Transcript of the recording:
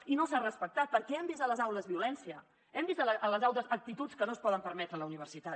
i no s’ha respectat perquè hem vist a les aules violència hem vist a les aules actituds que no es poden permetre a la universitat